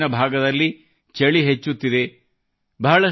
ದೇಶದ ಹೆಚ್ಚಿನ ಭಾಗದಲ್ಲಿ ಚಳಿ ಹೆಚ್ಚುತ್ತಿದೆ